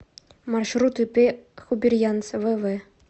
маршрут ип хубирьянц вв